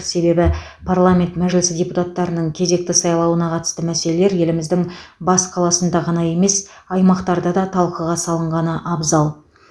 себебі парламент мәжілісі депутаттарының кезекті сайлауына қатысты мәселелер еліміздің бас қаласында ғана емес аймақтарда да талқыға салынғаны абзал